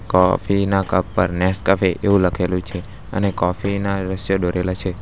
Coffee ના cup પર Nescafe એવું લખેલું છે અને કોફી ના દ્રશ્ય દોરેલા છે.